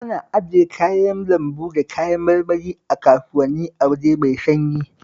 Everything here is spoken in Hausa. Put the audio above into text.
Ana ajiye kayan lambu da kayan marmari a kasuwanni a waje mai sanyi